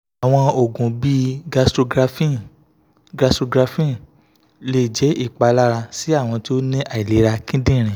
awọn oogun bii gastrografin gastrografin le jẹ ipalara si awọn ti o ni ailera kidinrin